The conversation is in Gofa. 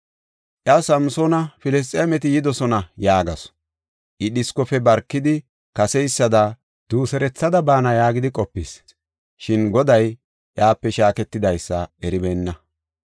Iya, “Samsoona, Filisxeemeti yidosona” yaagasu. I dhiskofe barkidi, kaseysada duuserethada baana yaagidi qopis; shin Goday iyape shaaketidaysa eribeenna.